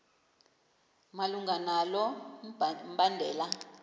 malunga nalo mbandela